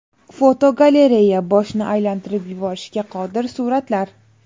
Fotogalereya: Boshni aylantirib yuborishga qodir suratlar.